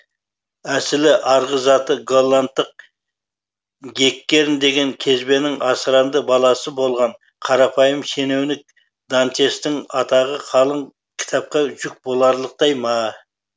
әсілі арғы заты голландық геккерн деген кезбенің асыранды баласы болған қарапайым шенеуінік дантестің атағы қалың кітапқа жүк боларлықтай ма